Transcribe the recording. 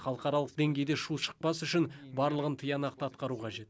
халықаралық деңгейде шу шықпас үшін барлығын тиянақты атқару қажет